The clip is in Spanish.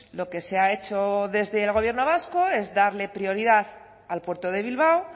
lo que se ha hecho desde el gobierno vasco es darle prioridad al puerto de bilbao